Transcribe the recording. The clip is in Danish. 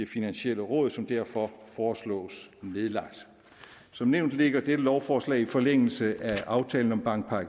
finansielle råd som derfor foreslås nedlagt som nævnt ligger dette lovforslag i forlængelse af aftalen om bankpakke